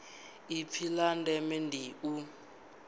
ipfi la ndeme ndi u